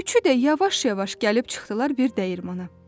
Üçü də yavaş-yavaş gəlib çıxdılar bir dəyirmana.